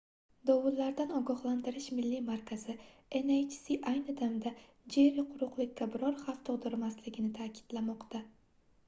dovullardan ogohlantirish milliy markazi nhc ayni damda jerri quruqlikka biror xavf tug'dirmasligini ta'kidlamoqda